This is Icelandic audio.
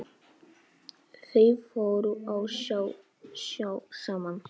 Þau fóru á sjó saman.